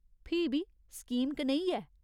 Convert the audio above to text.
फ्ही बी स्कीम कनेही ऐ ?